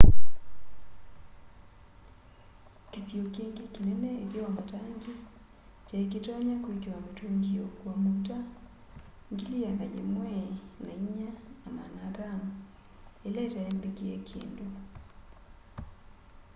kĩsio kĩngĩ kĩnene ĩtheo wa matangi kyaĩkĩtonya kwĩkĩwa mĩtũngĩ ya ũkũa maũta 104,500 ĩla itaĩ mbĩkĩe kĩndũ